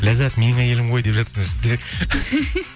ляззат менің әйелім ғой деп жатыр мына жерде